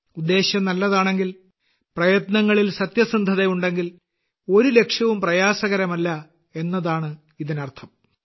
ഉദ്ദേശ്യം നല്ലതാണെങ്കിൽ പ്രയത്നങ്ങളിൽ സത്യസന്ധതയുണ്ടെങ്കിൽ ഒരു ലക്ഷ്യവും പ്രയാസകരമല്ല എന്നതാണ് ഇതിനർത്ഥം